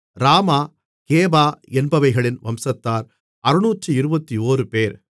ராமா கேபா என்பவைகளின் வம்சத்தார் 621 பேர்